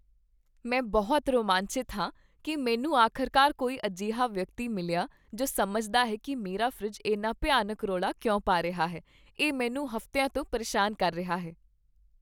ਮੈਂ ਬਹੁਤ ਰੋਮਾਂਚਿਤ ਹਾਂ ਕਿ ਮੈਨੂੰ ਆਖ਼ਰਕਾਰ ਕੋਈ ਅਜਿਹਾ ਵਿਅਕਤੀ ਮਿਲਿਆ ਜੋ ਸਮਝਦਾ ਹੈ ਕਿ ਮੇਰਾ ਫਰਿੱਜ ਇੰਨਾ ਭਿਆਨਕ ਰੌਲਾ ਕਿਉਂ ਪਾ ਰਿਹਾ ਹੈ ਇਹ ਮੈਨੂੰ ਹਫ਼ਤਿਆਂ ਤੋਂ ਪਰੇਸ਼ਾਨ ਕਰ ਰਿਹਾ ਹੈ!